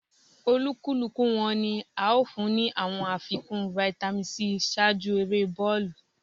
Olúkúlùkù wọ́n ní à o fún ni awọn àfikún Vitamin c ṣáájú èrè bọọlu